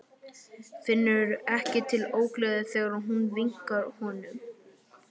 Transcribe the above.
Finnur ekki til ógleði þegar hún vinkar honum.